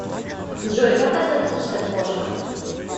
джой как относишься к кошкам